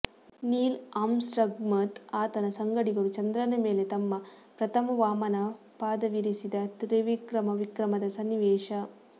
ನೀಲ್ಆರ್ಮ್ಸ್ಟ್ರಾಂಗ್ಮತ್ತು ಆತನ ಸಂಗಡಿಗರು ಚಂದ್ರನ ಮೇಲೆ ತಮ್ಮ ಪ್ರಥಮ ವಾಮನ ಪಾದವಿರಿಸಿದ ತ್ರಿವಿಕ್ರಮ ವಿಕ್ರಮದ ಸನ್ನಿವೇಶ